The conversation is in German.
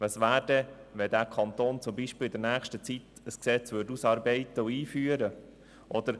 Was wäre, wenn zum Beispiel dieser Kanton in nächster Zeit ein Gesetz ausarbeiten und einführen würde?